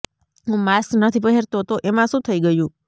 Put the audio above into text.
હું માસ્ક નથી પહેરતો તો એમાં શું થઈ ગયું